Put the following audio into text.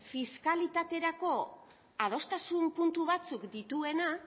fiskalitaterako adostasun puntu batzuk dituena